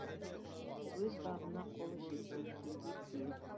өз бағына қолы жеткен пенде кем